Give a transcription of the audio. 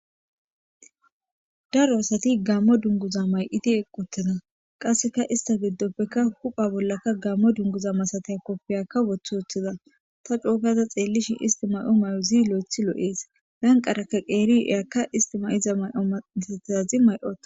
daro asati gammo dunguza may7idi eqqutida qasseka ista giddoppekka hupha bollakka gammo dunguza masatay koppiyakka wothi uththida ta coogada xeellishin isti may7o may7ozii lo7ethi loo7ees lanqaraka qeeri eyakka isti mayiza may7o masatizazi may7ohe